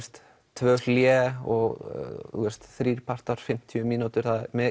tvö hlé og þrír partar fimmtíu mínútur